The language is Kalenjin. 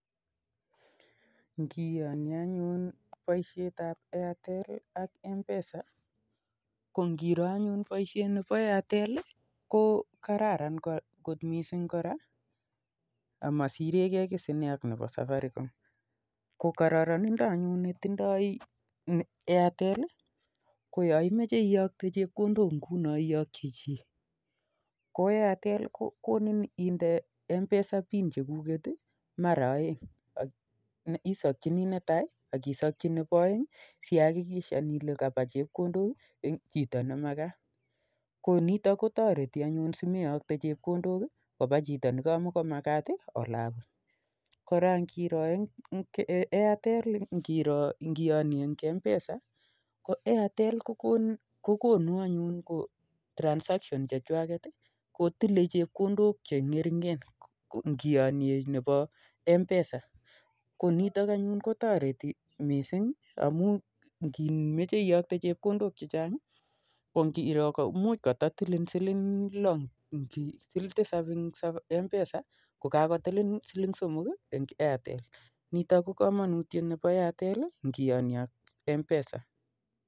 Ngiyonyei anyun boishetap Airtel ak m pesa ko ngiroo anyun boishet nebo Airtel ko kararan got missing amasirekee kii koraa ak m-pesa ko kororonindap Airtel Ii ko yaimachee iyoktee chepkondook iyokchii chii ko Airtel kokonin indee pin chekuket ii maraa oeng sihakikishan ilee kapaa chepkondook chito nemakat ko nitok anyun kotoreti simeyokchi chepkondook chito nemamakat koraa Airtel ngiyonyee ak m pesa Koo Airtel eng kiyoktoi chepkondook kotilei chepkondook che ngering'en ngiyonyee ak m-pesa